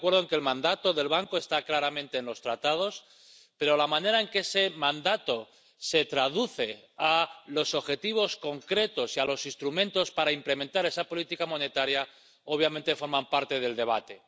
Estoy de acuerdo en que el mandato del Banco está claramente en los Tratados, pero la manera en que ese mandato se traduce a los objetivos concretos y a los instrumentos para implementar esa política monetaria, obviamente, forma parte del debate.